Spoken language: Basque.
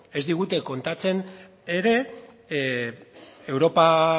ez digute kontatzen ere europa